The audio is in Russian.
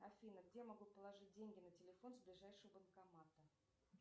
афина где я могу положить деньги на телефон с ближайшего банкомата